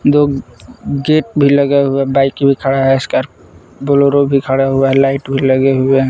दो गेट भी लगा हुआ बाइक भी खड़ा है सको ब्लॉरो भी खड़ा हुआ है लाइट भी लगे हुए हैं।